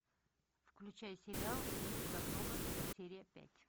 включай сериал мистер робот серия пять